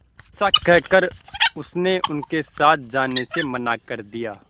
ऐसा कहकर उसने उनके साथ जाने से मना कर दिया